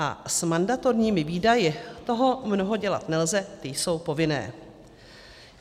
A s mandatorními výdaji toho mnoho dělat nelze, ty jsou povinné.